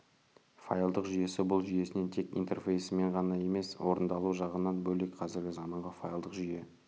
файлдық жүйесі бұл жүйесінен тек интерфейсімен ғана емес орындалу жағынан бөлек қазіргі заманғы файлдық жүйе